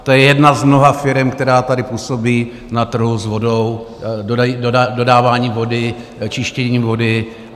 To je jedna z mnoha firem, která tady působí na trhu s vodou, dodáváním vody, čištěním vody.